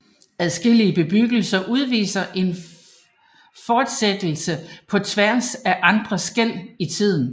Adskillige bebyggelser udviser en fortsættelse på tværs af andre skel i tiden